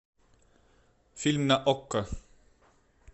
фильм на окко